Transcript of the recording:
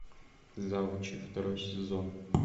завучи второй сезон